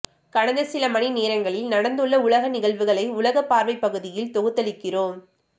கடந்த சில மணி நேரங்களில் நடந்துள்ள உலக நிகழ்வுகளை உலகப்பார்வை பகுதியில் தொகுத்தளிக்கிறோம்